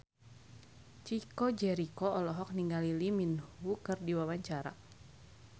Chico Jericho olohok ningali Lee Min Ho keur diwawancara